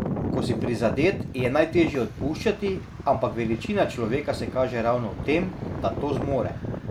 Ko si prizadet, je najtežje odpuščati, ampak veličina človeka se kaže ravno v tem, da to zmore.